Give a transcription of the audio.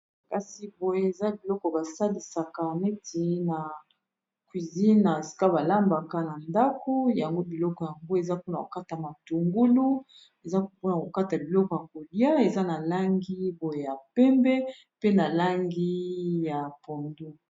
kasi boye eza biloko basalisaka neti na cuisine na esika balambaka na ndako yango biloko yango eza po na kokata matungulu eza pona kokata biloko ya kolia eza na langi boye ya pembe pe na langi ya pondu